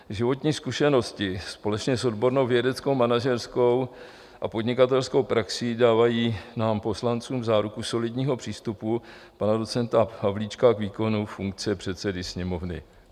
Životní zkušenosti společně s odbornou vědecko-manažerskou a podnikatelskou praxí dávají nám poslancům záruku solidního přístupu pana docenta Havlíčka k výkonu funkce předsedy Sněmovny.